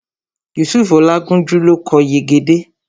Yusufu Olátúnjí ló kọ Yegede